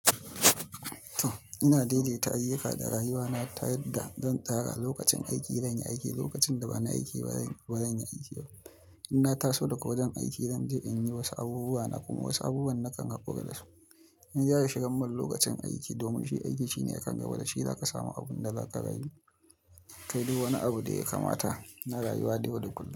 Ina daidaita ayyuka da rayuwana ta yadda zan tsara lokacin aiki zan yi aiki, lokacin da ba na aiki ba, ba zan yi aiki. Ina taso daga wajen aiki zan je in yi wasu abubuwa na kuma wasu abubuwan na kan hakura da su. In gyara shigan mun lokacin aiki domin shi aiki shine akan gaba da shi, za ka samu abun da za ka rayu. Kai du wani abu da ya kamata na rayuwa dai yau da kullum.